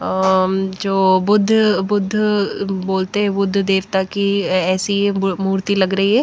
जो बुद्ध बुद्ध बोलते हैं बुद्ध देवता की ऐसी मूर्ति लग रही है।